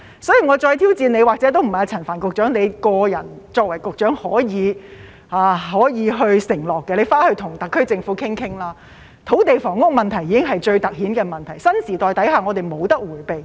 所以，我再挑戰陳帆局長——或者也不是他個人作為局長可以承諾的——回去跟特區政府討論一下，土地房屋問題已經是最凸顯的問題，在新時代下，我們無法迴避。